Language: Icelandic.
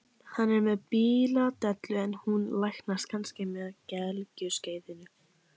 Hann er með bíladellu en hún læknast kannski með gelgjuskeiðinu.